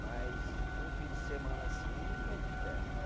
Mas num fim de semana assim, ninguém é de ferro, né?